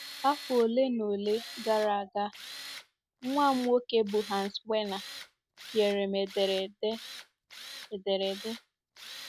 Afọ ole na ole gara aga, nwa m nwoke, bụ́ Hans Werner, nyere m ederede m ederede.